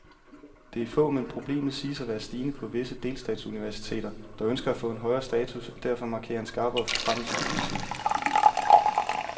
Det er få, men problemet siges at være stigende på visse delstatsuniversiteter, der ønsker at få en højere status og derfor markerer en skarpere forfremmelsespolitik.